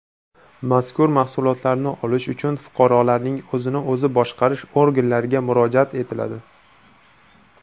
Mazkur mahsulotlarni olish uchun fuqarolarning o‘zini o‘zi boshqarish organlariga murojaat etiladi.